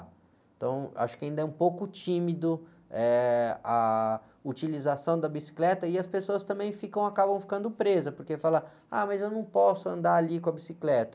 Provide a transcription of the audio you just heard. Então, acho que ainda é um pouco tímido, eh, a utilização da bicicleta e as pessoas ficam, também acabam ficando presas, porque falam, ah, mas eu não posso andar ali com a bicicleta.